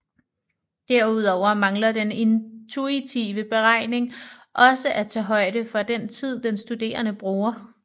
Derudover mangler den intuitive beregning også at tage højde for den tid den studerende bruger